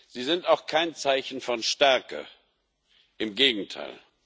Sie sind auch kein Zeichen von Stärke, im Gegenteil.